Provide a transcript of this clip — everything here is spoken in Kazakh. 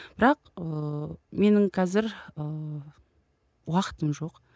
бірақ ыыы менің қазір ыыы уақытым жоқ